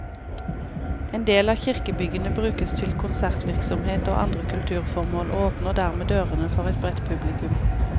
En del av kirkebyggene brukes til konsertvirksomhet og andre kulturformål, og åpner dermed dørene for et bredt publikum.